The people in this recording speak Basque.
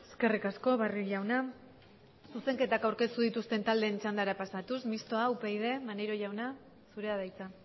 eskerrik asko barrio jauna zuzenketak aurkeztu dituzten taldeen txandara pasatuz mistoa upyd maneiro jauna zurea da hitza